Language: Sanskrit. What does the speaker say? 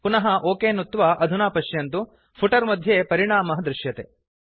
पुनः ओक नुत्वा अधुना पश्यन्तु फुटर् मध्ये परिणामः दृश्यते